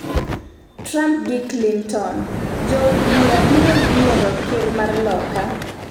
Trump gi Clinton: Jood bura biro yiero ker mar Loka